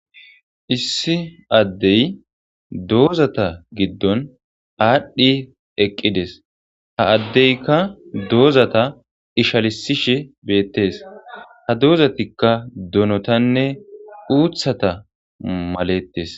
issi addey doozata giddon aadhdhi eqqides , ha addeykka doozata ishalisishe beettes ha doozatikka donotanne uuthata malettes